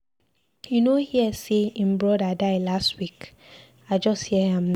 You no hear say him brother die last week, I just hear am now.